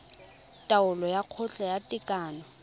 taolo ya kgotla ya tekano